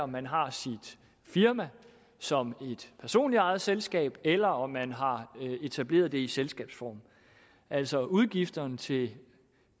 man har sit firma som et personligt ejet selskab eller om man har etableret det i selskabsform altså udgifterne til